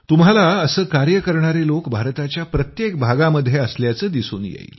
तुम्हाला असं कार्य करणारे लोक भारताच्या प्रत्येक भागामध्ये असल्याचं दिसून येईल